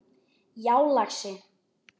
Já, lagsi.